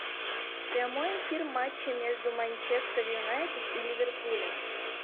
прямой эфир матча между манчестер юнайтед и ливерпулем